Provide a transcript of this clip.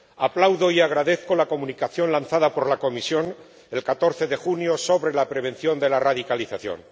Aplaudo y agradezco la Comunicación publicada por la Comisión el 14 de junio sobre la prevención de la radicalización.